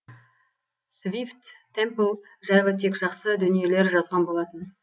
свифт темпл жайлы тек жақсы дүниелер жазған болатын